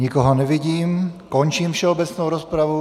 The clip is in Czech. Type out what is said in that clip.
Nikoho nevidím, končím všeobecnou rozpravu.